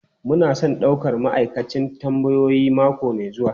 Muna son daukar ma'aikacin tambayoyi mako mai zuwa.